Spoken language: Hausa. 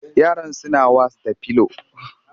Yaran suna was da pillow